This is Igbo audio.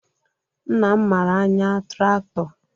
Nna m mara anya traktọ